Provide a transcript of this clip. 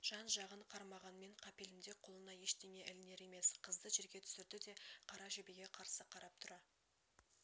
жан-жағын қарманғанмен қапелімде қолына ештеңе ілінер емес қызды жерге түсірді де қара жебеге қарсы қарап тұра